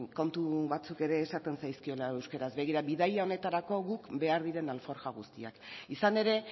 kontu batzuk ere esaten zaizkiola euskeraz begira bidaia honetarako guk behar diren alforja guztiak izan ere